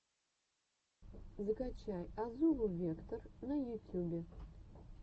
закачай азулу вектор на ютюбе